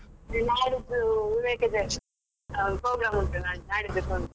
ನಾಳಿದ್ದು ವಿವೇಕ ಜಯಂತಿ program ಉಂಟು.